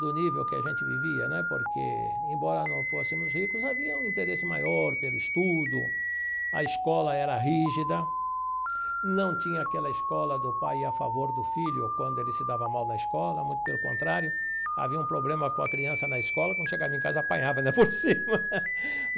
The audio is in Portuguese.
do nível que a gente vivia né, porque, embora não fôssemos ricos, havia um interesse maior pelo estudo, a escola era rígida, não tinha aquela escola do pai ir a favor do filho quando ele se dava mal na escola, muito pelo contrário, havia um problema com a criança na escola, quando chegava em casa apanhava ainda por cima.